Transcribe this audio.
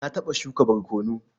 Na taɓa shuka barkono.